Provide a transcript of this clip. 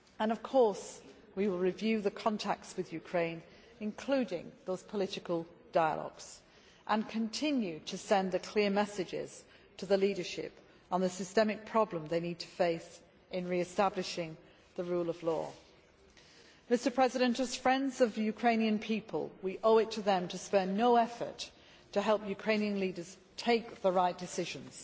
Of course we will review the contacts with Ukraine, including those political dialogues and continue to send the clear messages to the leadership on the systemic problem they need to face in re establishing the rule of law. As friends of the Ukrainian people, we owe it to them to spare no effort to help Ukrainian leaders take the right decisions.